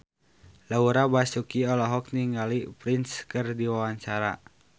Laura Basuki olohok ningali Prince keur diwawancara